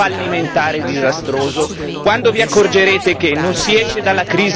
Quando vi accorgerete che quanto fatto fino ad ora è stato fallimentare e disastroso?